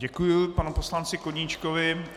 Děkuji panu poslanci Koníčkovi.